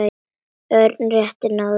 Örn rétt náði að grípa.